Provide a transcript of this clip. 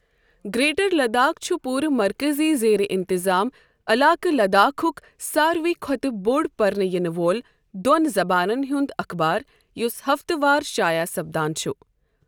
Greater Ladakh چھُ پوٗرٕ مركزی زیر انتظام علاقہٕ لداخک ساروٕے کھۄتہٕ بوٚڑ پرنہٕ ینہٕ وۄل دوٚن زبانَن ہُنٛد اخبار یُس ہفتَہٕ وار شائع سپدان چھٗ ۔